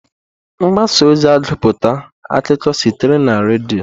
Mgbasa ozi agụputa akụkọ sitere na redio.